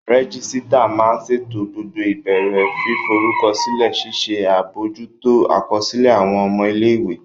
Rẹ́gísírà máa n ṣètò gbogbo ìbéèrè fíforúkọsílẹ̀, ṣíṣe àbojútó àkọsílẹ̀ àwọn ọmọ ilé-ìwé